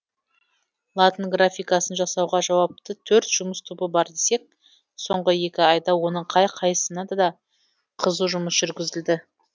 латын графикасын жасауға жауапты төрт жұмыс тобы бар десек соңғы екі айда оның қай қайсысында да қызу жұмыс жүргізілді